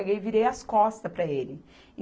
e virei as costas para ele.